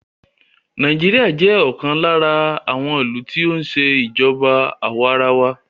Nàìjíríà jẹ́ ọ̀kan lára àwọn ìlú tí o ń ṣe ìjọba àwa arawa.